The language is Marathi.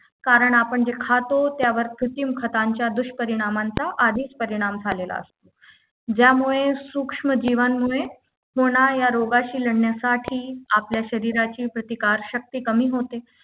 कारण आपण जे खातो त्यावर कृत्रिम खतांच्या दुष्परिणामांचा आधीच परिणाम झालेला असतो ज्यामुळे सूक्ष्मजीवांमुळे होणाऱ्या रोगाशी लढण्यासाठी आपल्या शरीराची प्रतिकार शक्ती कमी होते